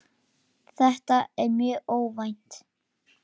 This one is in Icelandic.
Þetta var mjög óvænt.